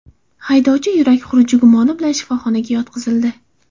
Haydovchi yurak xuruji gumoni bilan shifoxonaga yotqizildi.